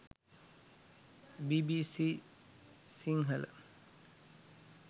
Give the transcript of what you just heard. bbc sinhala